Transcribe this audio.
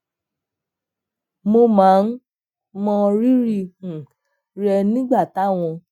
mo máa ń mọ rírì um rẹ nígbà táwọn